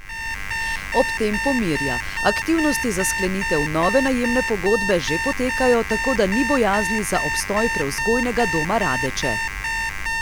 Ob tem pomirja: "Aktivnosti za sklenitev nove najemne pogodbe že potekajo, tako da ni bojazni za obstoj Prevzgojnega doma Radeče.